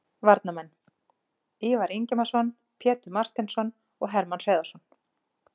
Varnarmenn: Ívar Ingimarsson, Pétur Marteinsson og Hermann Hreiðarsson